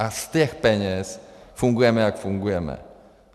A z těch peněz fungujeme, jak fungujeme.